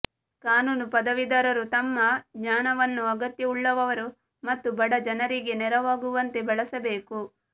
ಕಾನೂನು ಪದವೀಧರರು ತಮ್ಮ ಜ್ಞಾನವನ್ನು ಅಗತ್ಯವುಳ್ಳವರು ಮತ್ತು ಬಡ ಜನರಿಗೆ ನೆರವಾಗುವಂತೆ ಬಳಸಬೇಕು